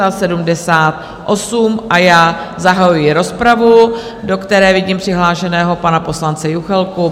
A já zahajuji rozpravu, do které vidím přihlášeného pana poslance Juchelku.